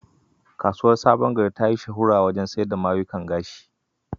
Kasuwar Sabon Gari ta yi shuhura wajen sayar mayukan gashi.